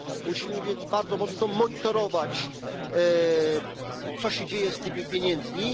Musimy więc bardzo mocno monitorować, co się dzieje z tymi pieniędzmi.